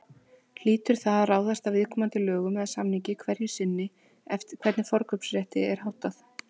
Hlýtur það að ráðast af viðkomandi lögum eða samningi hverju sinni hvernig forkaupsrétti er háttað.